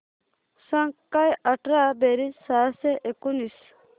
सांग काय अठरा बेरीज सहाशे एकोणीस